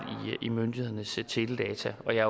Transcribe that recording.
i myndighedernes teledata og jeg